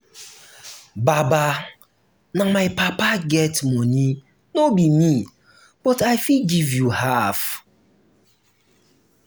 babe na my papa wey um get money no be me um but i fit give you um half